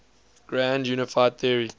grand unified theory